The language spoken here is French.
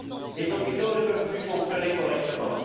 Les hôpitaux ne peuvent plus fonctionner correctement.